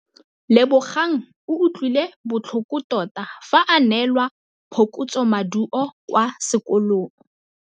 Lebogang o utlwile botlhoko tota fa a neelwa phokotsômaduô kwa sekolong.